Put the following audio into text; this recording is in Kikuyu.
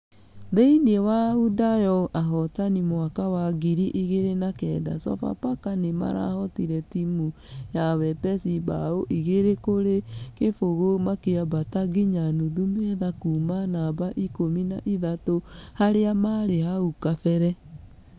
Thĩini wa wundayo ahotani a mwaka wa ngiri igĩri na kenda sofapaka nĩmarahotire timũ ya wepesi bao igĩri kũrĩ kĩbũgũ makĩambata nginya nuthu metha kuuma namba ikũmi na ithatũ harĩa marĩ hau kabere.